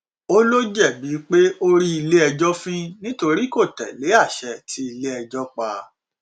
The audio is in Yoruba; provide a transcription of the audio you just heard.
o ìó jẹbi pé o rí iléẹjọ fín nítorí kò tẹlé àṣẹ tí iléẹjọ pa